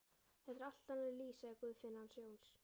Þetta er allt annað líf, sagði Guðfinna hans Jóns.